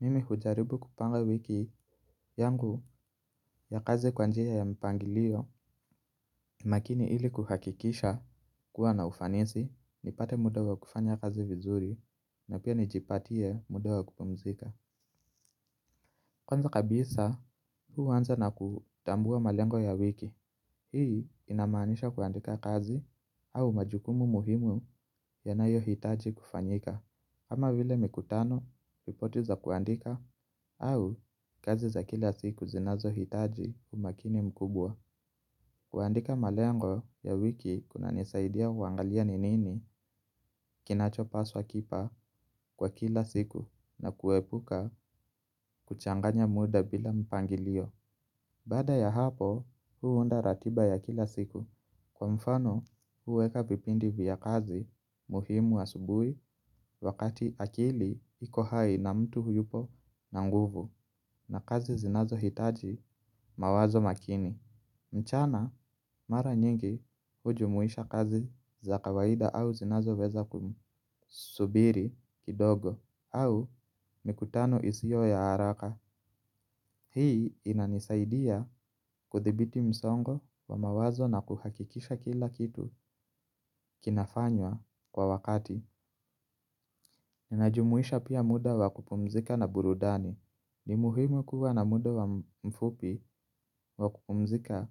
Mimi kujaribu kupanga wiki yangu ya kazi kwanjia ya mpangilio. Makini ili kuhakikisha kuwa na ufanisi nipate muda wa kufanya kazi vizuri na pia nijipatie muda wa kupumzika. Kwanza kabisa huanza na kutambua malengo ya wiki. Hii inamaanisha kuandika kazi au majukumu muhimu yanayo hitaji kufanyika. Kama vile mikutano ripoti za kuandika au kazi za kila siku zinazo hitaji umakini mkubwa. Kuandika malengo ya wiki kunanisaidia kuangalia ni nini kinacho paswa kipa kwa kila siku na kuepuka kuchanganya muda bila mpangilio. Bada ya hapo mi huunda ratiba ya kila siku. Kwa mfano huweka vipindi vya kazi muhimu asubuhi wakati akili iko hai na mtu yupo na nguvu na kazi zinazo hitaji mawazo makini. Mchana mara nyingi hujumuisha kazi za kawaida au zinazo weza kusubiri kidogo au mikutano isio ya haraka. Hii inanisaidia kudhibiti msongo wa mawazo na kuhakikisha kila kitu kinafanywa kwa wakati. Ninajumuisha pia muda wa kupumzika na burudani. Ni muhimu kuwa na muda wa mfupi wa kupumzika